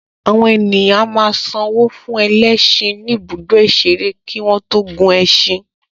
Àwọn ènìyàn a máa san owó fún ẹlẹ́ṣin ní ibùdó ìṣeré kí wọ́n tó gun ẹṣin